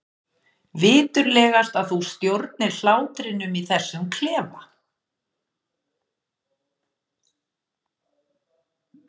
Viturlegast að þú stjórnir hlátrinum í þessum klefa.